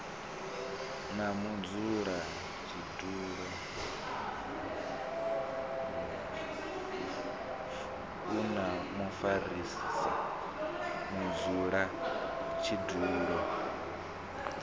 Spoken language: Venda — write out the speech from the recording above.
na mudzulatshidulo na mufarisa mudzulatshidulo